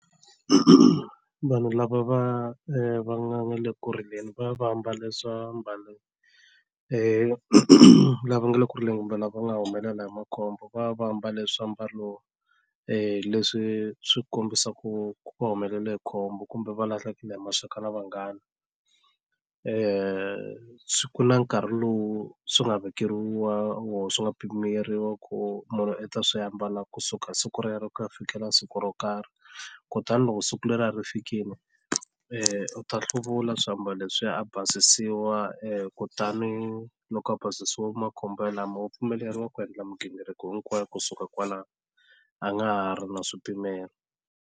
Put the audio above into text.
Vanhu lava va va nga le ku rileni va va ambale swiambalo lava nga le ku rileni kumbe lava nga humelela hi makhombo va va mbale swiambalo leswi swi kombisaku ku va humelela hi khombo kumbe va lahlekele hi maxaka na vanghana kuna nkarhi lowu swi nga vekeriwa wo swi nga pimeriwa ku munhu i ta swi ambala kusuka siku rero ku ya fikela siku ro karhi kutani loko siku leriya ri fikini u ta hluvula swiambalo leswiya a basisiwa kutani loko a basisiwa makhombo lama wa pfumeleriwa ku endla mighingiriko hinkwayo kusuka kwalano a nga ha ri na swipimelo.